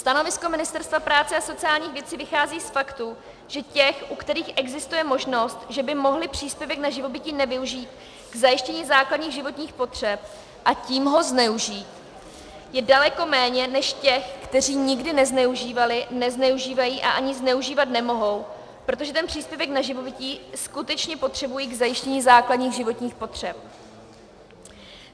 Stanovisko Ministerstva práce a sociálních věcí vychází z faktu, že těch, u kterých existuje možnost, že by mohli příspěvek na živobytí nevyužít k zajištění základních životních potřeb, a tím ho zneužít, je daleko méně než těch, kteří nikdy nezneužívali, nezneužívají a ani zneužívat nemohou, protože ten příspěvek na živobytí skutečně potřebují k zajištění základních životních potřeb.